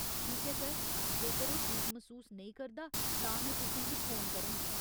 ठीक ऐ सर, जेकर ओह् ठीक मसूस नेईं करदा, तां में तुसें गी फोन करङ।